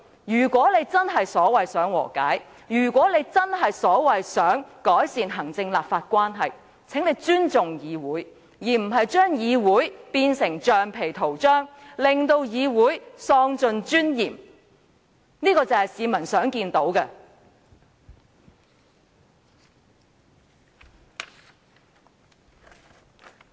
如果她真的所謂想和解，如果她真的想改善行政立法關係，便請她尊重議會，而不是把議會變成橡皮圖章，令議會尊嚴喪盡，這才是市民想見到的。